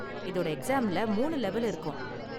இதோட எக்ஸாம்ல மூணு லெவல் இருக்கும்.